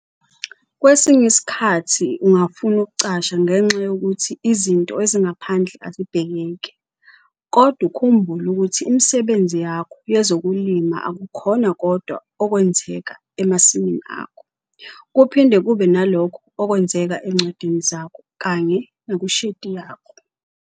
Kwesinye isikhathi ungafuna ukucasha ngenxa yokuthi izinto ezingaphandle azibhekeki. Kodwa ukhumbule ukuthi imisebenzi yakho yezokulima akukhona kodwa okwenzeka emasimini akho, kuphinde kube nalokho okwenzeka ezincwadini zakho kanye nakushedi yakho.